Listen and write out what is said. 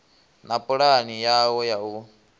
na pulani yawo ya u